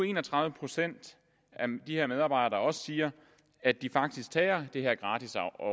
en og tredive procent af de her medarbejdere også siger at de faktisk tager det her gratis